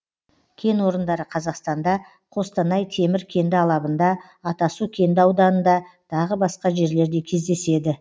кен орындары қазақстанда қостанай темір кенді алабында атасу кенді ауданында тағы басқа жерлерде кездеседі